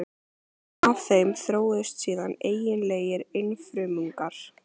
Af þeim þróuðust síðan eiginlegir einfrumungar.